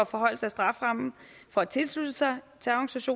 forhøjelse af strafferammen for at tilslutte sig